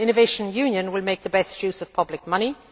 Well, Innovation Union will make the best use of public money.